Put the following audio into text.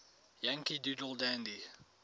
yankee doodle dandy